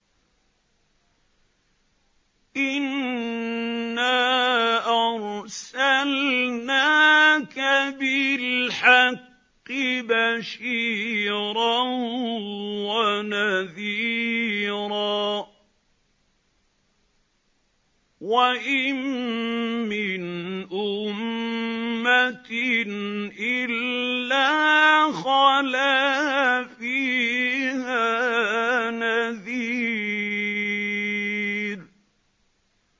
إِنَّا أَرْسَلْنَاكَ بِالْحَقِّ بَشِيرًا وَنَذِيرًا ۚ وَإِن مِّنْ أُمَّةٍ إِلَّا خَلَا فِيهَا نَذِيرٌ